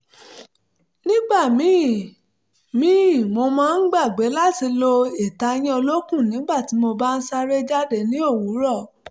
nígbà míì míì mo máa ń gbàgbé láti lo ìtayín olókùn nígbà tí mo bá ń sáré jáde ní òwúrọ̀